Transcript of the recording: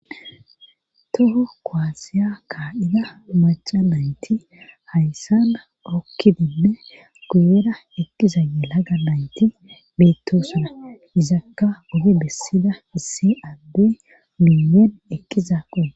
Toho koasiya kaa'ida maca mayti hayssana okkidinne kuyera eqqiza yelaga mayti beettosuna izakka ode bessida issi adde miyoon eqiza qo.